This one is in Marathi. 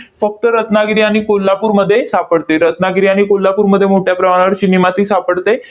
फक्त रत्नागिरी आणि कोल्हापूरमध्ये सापडते, रत्नागिरी आणि कोल्हापूरमध्ये मोठ्या प्रमाणावर चिनी माती सापडते.